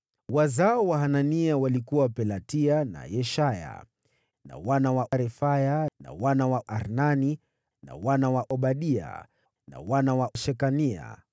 Wazao wa Hanania walikuwa: Pelatia na Yeshaya, na wana wa Refaya, na wana wa Arnani, na wana wa Obadia, na wana wa Shekania.